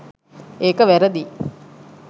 ඒක වැරදියි